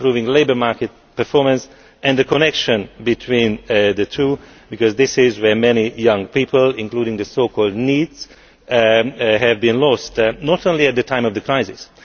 improving labour market performance and the connection between the two, because this is where many young people, including the so called NEETs, have been lost and not only at the time of the crisis.